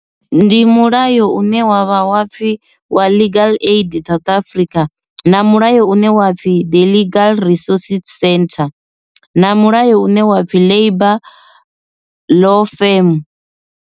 Ndi mulayo une wavha wa pfhi wa legal aid South Afrika na mulayo une wa pfhi the legal resources centre na mulayo une wa pfhi labour law firm.